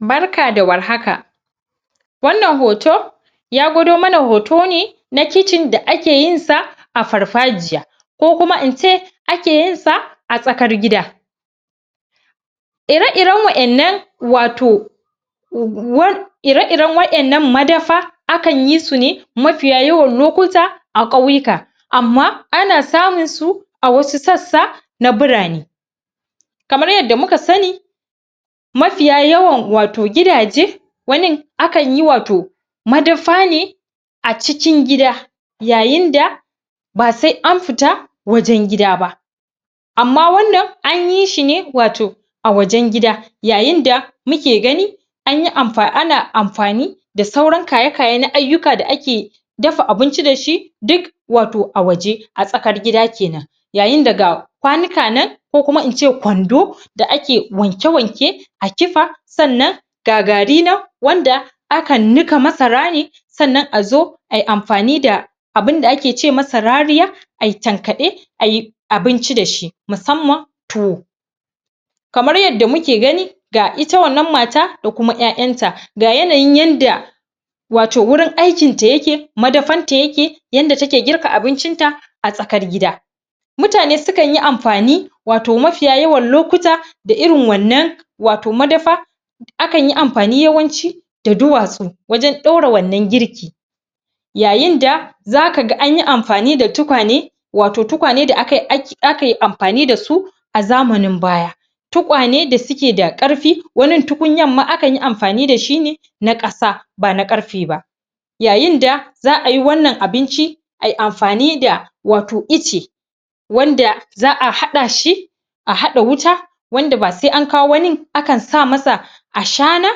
Barka da Warhaka wannan hoho ya gwado mana hoto ne na kicin da ake yin sa a farfajiya ko kuma ince ake yin sa a tsakar gida ire-iren wa'yan nan wato um ire-iren wa'yan nan madafa akan yi su ne mafiya yawan lokuta a ƙauyika amma ana samun su a wasu sassa na burane kamar yadda muka sani mafiya yawan wato gidaje wanin akan yi wato madafa ne a cikin gida yayin da ba sai an fita wajen gida ba amma wannan anyi shi ne wato a wajan gida yayin da muke gani anyi amfa ana amfani da sauran kayekaye na ayyuka da ake dafa abinci dashi duk wato a waje, a tsakar gida kenan yayin da kwanoka nan ko kuma ince kwando da ake wanke-wanke a kifa sannan ga gari nan, wanda aka nika Masara ne sannan azo ai amfani da abunda ake ce masa rariya ai tankaɗe ai abinci dashi musamman tuwo kamar yadda muke gani ga ita wannan mata da kuma 'ya'yanta, ga yanayin yadda wato wurin aikin ta yake, madafar ta yake, yadda take girka abincin ta a tsakar gida mutane sukan yi amfani, wato mafiya yawan lokuta da irin wannan wato madafa akan yi amfani yawanci da duwatsu wajan ɗora wannan girki yayin da zaka ga anyi amfani da tukwane wato tukwane da akai um akaiamfani dasu a zamanin baya tukwane da suke da ƙarfi, wanin tukunyar ma akan yi amfani dashi ne na ƙasa bana ƙarfe ba yayin da za'a yi wannan abinci ai amfani da wato ice wamda za'a haɗa shi a haɗa wuta wanda ba sai an kawo wani, akan sa masa wato Ashana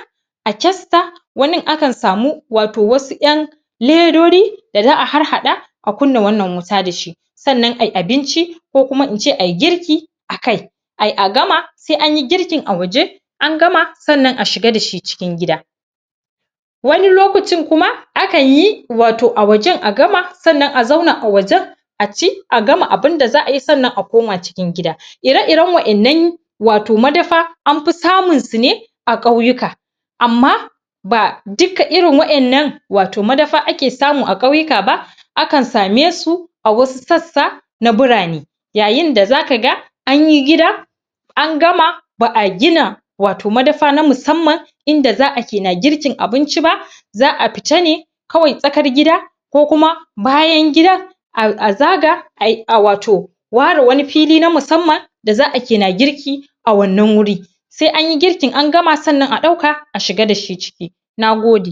a kyasta, wanin akan samu wato wasu 'yan ledodi da za'a harhaɗa a kunna wannan wuta dashi sannan ai abinci ko kuma in ce ai girki akai ai a gama, sai anyi girkin a waje an gama sannan a shiga dashi cikin gida wani lokacin kuma, akan yi wato a wajan a gama sannan a zauna a wajan a ci, a gama abinda za'a yi sannan a koma cikin gida. Ire-iren wa'yan nan wato madafa anfi samun su ne a ƙauyika amma ba duka irin wa'yan nan wato madafa ake samu a ƙauyika ba, akan same su a wasu sassa na burane yayin da zaka ga anyi gida an gama, ba'a gina wato madafa na musamman ida za'a ke na girkin abinci ba za'a fita ne kawai tsakar gida ko kuma bayan gida a zaga ai, a wato ware wani fili na musamman da za'a ke na girki a wannan wuri sai anyi girkin an gama sannan a ɗauka a shiga dashi ciki. Nagode